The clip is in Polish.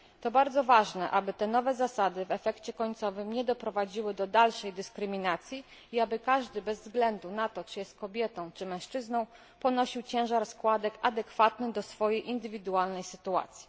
To bardzo ważne, aby te nowe zasady w efekcie końcowym nie doprowadziły do dalszej dyskryminacji i aby każdy, bez względu na to czy jest kobietą czy mężczyzną, ponosił ciężar składek adekwatny do swojej indywidualnej sytuacji.